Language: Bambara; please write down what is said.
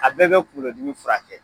A bɛɛ be kunkolo dimi furakɛ.